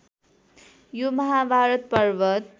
यो महाभारत पर्वत